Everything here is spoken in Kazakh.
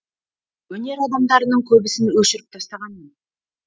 өнер адамдарының көбісін өшіріп тастағанмын